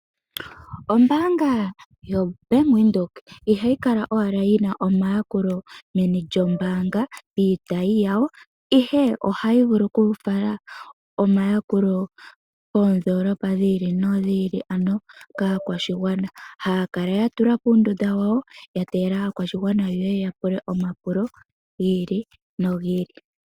Ombaanga yoBank Windhoek ihayi kala owala yi na omayakulo meni lyombaanga piitayi yawo, ihe ohayi vulu okufala omayakulo koondoolopa dhi ili nodhi ili, ano kaakwashigwana, haya kala ya tula po uundunda wawo, ya tegelela aakwashigwana ye ye ya pule omapulo gi ili nogi ili.